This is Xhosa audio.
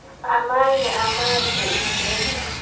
amanye amazwe imveliso